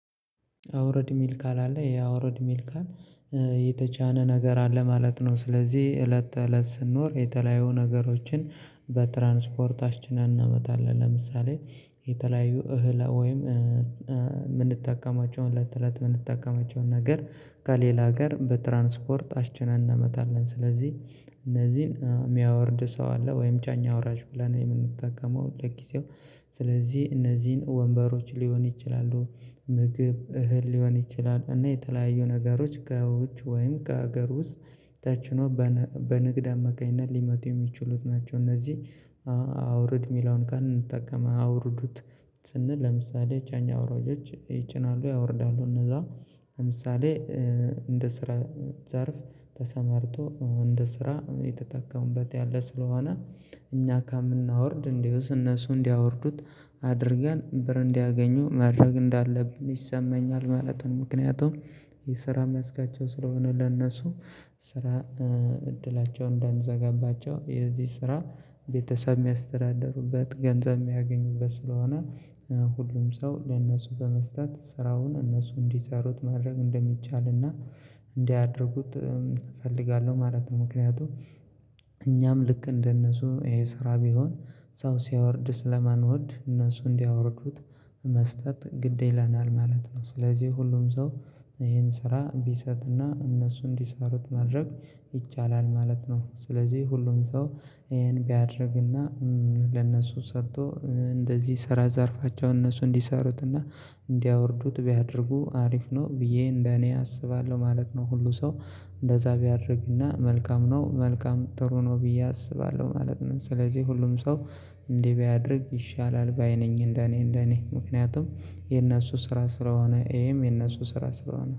አውርድ የሚል ቃል አለ ያ አውርድ የሚል ቃል የተጫነ ነገር አለ ማለት ነው። ስለዚህ እለት ተእለት ስንኖር የተለያዩ ነገሮችን በትራንስፖርታችን እናመጣለን ለምሳሌ የተለያዩ እህል ወይም የምንጠቀማቸውን እለት ከእለት የምንጠቀማቸውን ነገር ከሌላ ሀገር በትራንስፖርት አስጭነን እናመጣለን። ስለዚህ እነዚህን የሚያወርድ ሰው አለ ወይም ጫኝ አውራጅ ብለን የምንጠቀመው ለጊዜው ስለዚህ እነዚህን ወንበሮች ሊሆን ይችላሉ ምግብ እህል ሊሆን ይችላል እና የተለያዩ ነገሮች ከውጭ ወይም ከሀገር ውስጥ ተጭኖ በንግድ አማካኝነት ሊመቱ የሚችሉት ናቸው። እነዚህ አውርድ የሚለውን ቃል እንጠቀም አውርዱት። ስንል ለምሳሌ ጫኝ አውራጆች ይጭናሉ ያወርዳሉ እነዛ ለምሳሌ እንደ ስራ ዘርፍ ተሰማርቶ እንደ ስራ የተጠቀሙበት ያለ ስለሆነ እኛ ከምናወርድ እንዲውስ እነሱ እንዲያወርዱት አድርገን ብር እንዲያገኙ ማድረግ እንዳለብን ይሰማኛል። ማለትም ምክንያቱም የስራ መስካቸው ስለሆነ ለእነሱ ስራ እድላቸውን እንዳንዘጋባቸው የዚህ ስራ ቤተሰብ የሚያስተዳድሩበት ገንዘብ የሚያገኙበት ስለሆነ ሁሉም ሰው ለእነሱ በመስጠት ስራውን እነሱ እንዲሰሩት ማድረግ እንደሚቻልና እንዲያደርጉት እፈልጋለሁ። ማለት ነው ምክንያቱም እኛም ልክ እንደነሱ ይሄ ስራ ቢሆን ሰው ሲያወርድ ስለማንወድ እነሱ እንዲያወርዱት መስጠት ግድ ይለናል ማለት ነው። ስለዚህ ሁሉም ሰው ይሄን ስራ ቢሰጥና እነሱ እንዲሰሩት ማድረግ ይቻላል ማለት ነው። ስለዚህ ሁሉም ሰው ይሄን ቢያደርግና ለነሱ ሰጥቶ እንደዚህ ስራ ዘርፋቸው እነሱ እንዲሰሩትና እንዲያወርዱት ቢያደርጉ አሪፍ ነው ብዬ እንደኔ አስባለሁ ማለት ነው። ሁሉ ሰው እንደዛ ቢያደርግና መልካም ነው መልካም ጥሩ ነው ብዬ አስባለሁ ማለት ነው። ስለዚህ ሁሉም ሰው እንዲህ ቢያደርግ ይሻላል ባይ ነኝ። እንደኔ እንደኔ ምክንያቱም የነሱ ስራ ስለሆነ ይሄም የነሱ ስራ ስለሆነ